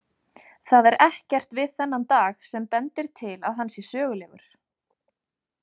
Það er ekkert við þennan dag sem bendir til að hann sé sögulegur.